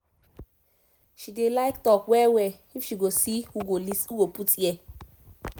she dey like talk well well if she go see who go put ear